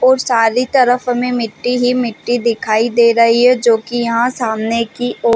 और सारी तरफ हमे मिट्टी ही मिट्टी दिखाई दे रही है जो की यहाँ सामने की ओर--